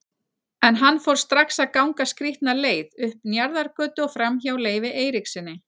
En hann fór strax að ganga skrýtna leið, upp Njarðargötu og framhjá Leifi Eiríkssyni.